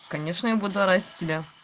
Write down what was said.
конечно я буду ради тебя